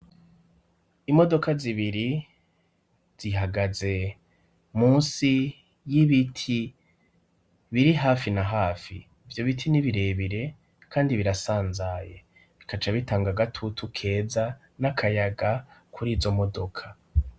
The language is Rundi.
Imodoka zibiri zihagaze munsi y'ibiti biri hafi na hafi ivyo biti n'ibirebire kandi birasanzaye bikaca bitanga gatutu keza n'akayaga kuri izo modoka.